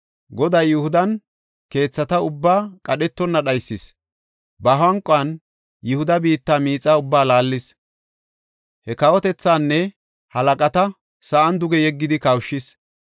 Goday Yihudan keethata ubbaa qadhetonna dhaysis; ba hanquwan Yihuda biitta miixaa ubbaa laallis; he kawotethaanne halaqata sa7an duge yeggidi kawushis.